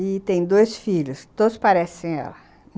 E tem dois filhos, todos parecem ela.